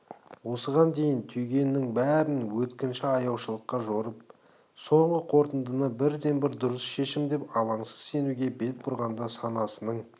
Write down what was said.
осыған дейін түйгенінің бәрін өткінші аяушылыққа жорып соңғы қорытындыны бірден-бір дұрыс шешім деп алаңсыз сенуге бет бұрғанда санасының